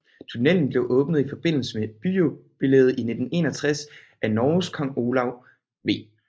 Tunnelen blev åbnet i forbindelse med byjubilæet i 1961 af Norges Kong Olav V